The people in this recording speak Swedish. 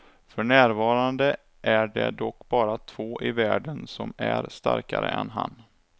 För närvarande är det dock bara två i världen som är starkare än han.